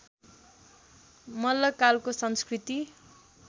मल्लकालको संस्कृति